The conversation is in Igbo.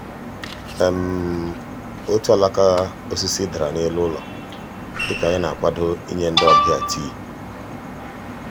otu alaka osisi dara n'elu ụlọ dịka anyị na-akwado ịnye ndị ọbịa tii.